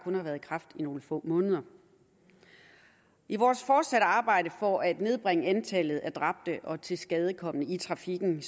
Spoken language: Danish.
været i kraft i nogle få måneder i vores fortsatte arbejde for at nedbringe antallet af dræbte og tilskadekomne i trafikken